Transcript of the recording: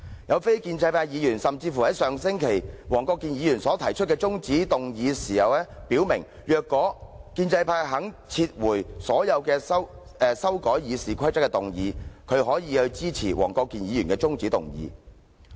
一位非建制派議員甚至在上星期就黃國健議員的中止待續議案發言時表明，如果建制派肯撤回所有修改《議事規則》的決議案，他可以支持黃議員的中止待續議案。